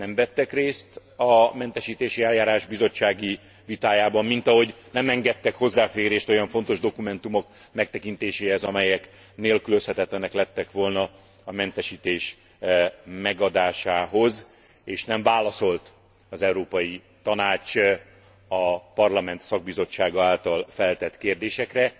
Nem vettek részt a mentesítési eljárás bizottsági vitájában, mint ahogy nem engedtek hozzáférést olyan fontos dokumentumok megtekintéséhez, amelyek nélkülözhetetlenek lettek volna a mentesítés megadásához, és nem válaszolt az Európai Tanács a Parlament szakbizottsága által feltett kérdésekre.